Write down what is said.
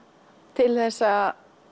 til þess að